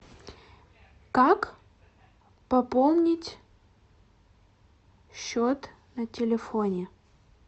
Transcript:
как пополнить счет на телефоне